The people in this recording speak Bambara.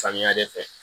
Samiya de fɛ